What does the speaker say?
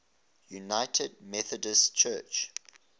united methodist church